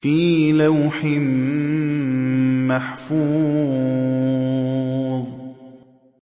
فِي لَوْحٍ مَّحْفُوظٍ